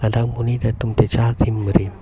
dak monit atum chechar rimrim.